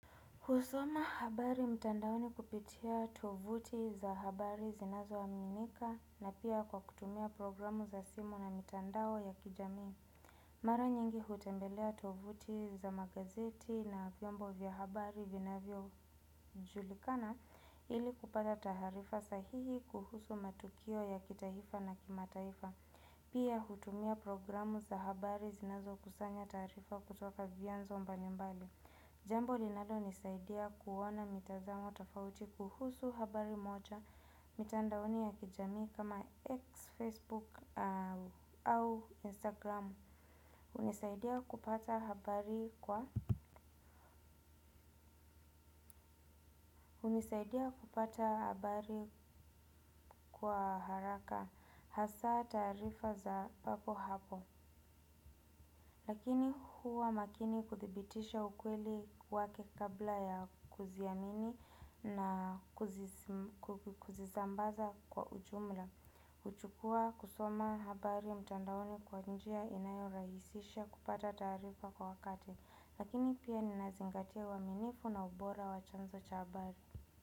Husoma habari mtandaoni kupitia tovuti za habari zinazoaminika na pia kwa kutumia programu za simu na mitandao ya kijamii. Mara nyingi hutembelea tovuti za magazeti na vyombo vya habari vinavyojulikana ili kupata taharifa sahihi kuhusu matukio ya kitahifa na kimataifa. Pia hutumia programu za habari zinazokusanya taarifa kutoka vyanzo mbalimbali. Jambo linalonisaidia kuona mitazamo tofauti kuhusu habari moja. Mitandaoni ya kijamii kama x Facebook au Instagram Unisaidia kupata habari kwa haraka hasaa taarifa za papo hapo. Lakini huwa makini kuthibitisha ukweli wake kabla ya kuziamini na kuzizambaza kwa ujumla. Uchukua kusoma habari mtandaoni kwa njia inayorahisisha kupata taarifa kwa wakati. Lakini pia ninazingatia uaminifu na ubora wa chanzo cha habari.